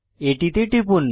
এটিতে টিপুন